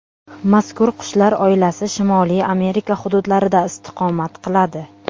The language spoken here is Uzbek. Mazkur qushlar oilasi Shimoliy Amerika hududlarida istiqomat qiladi.